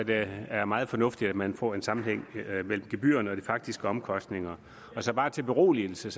det er meget fornuftigt at man får en sammenhæng mellem gebyrerne og de faktiske omkostninger bare til beroligelse